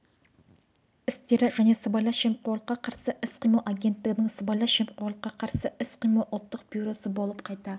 істері және сыбайлас жемқорлыққа қарсы іс-қимыл агенттігінің сыбайлас жемқорлыққа қарсы іс-қимыл ұлттық бюросы болып қайта